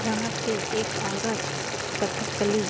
यहाँ पे एक औरत कथकली --